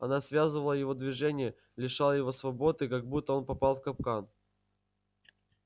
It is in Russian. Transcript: она связывала его движения лишала его свободы как будто он попал в капкан